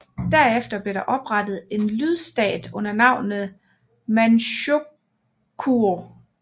Derefter blev der oprettet en lydstat under navnet Manchukuo